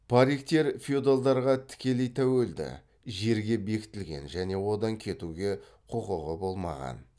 париктер феодалдарға тікелей тәуелді жерге бекітілген және одан кетуге құқығы болмаған